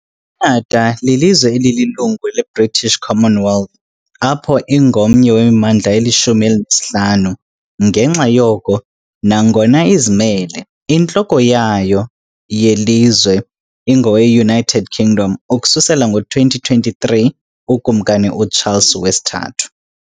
IKhanada lilizwe elililungu leBritish Commonwealth, apho ingomnye wemimandla elishumi elinesihlanu, ngenxa yoko, nangona izimele, intloko yayo yelizwe ingowe-United Kingdom, ukusukela ngo-2023 uKumkani uCharles III.